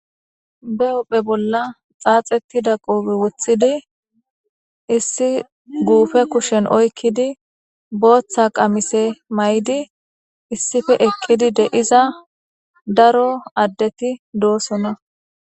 be hupphe bolla xaaxetida qoobe wothidi issi guufe kushen oykkidi booththa qamise may7di issife eqqidi deiza daro addeti doosona